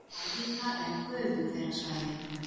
Háhita- eða gufuhverasvæði